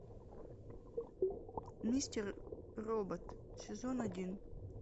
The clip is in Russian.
мистер робот сезон один